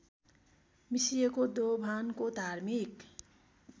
मिसिएको दोभानको धार्मिक